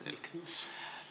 Selge.